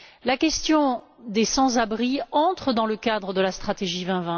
La question des sans abri entre dans le cadre de la stratégie Europe